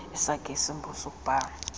esakhe isimbo sokubhaia